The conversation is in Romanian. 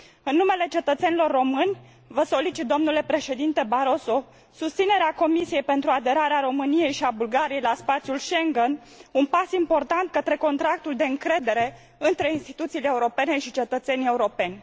În numele cetățenilor români, vă solicit, domnule președinte Barroso, susținerea Comisiei pentru aderarea României și a Bulgariei la spațiul Schengen, un pas important către contractul de încredere între instituțiile europene și cetățenii europeni.